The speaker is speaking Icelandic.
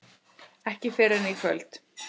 Ekki fyrr en í kvöld.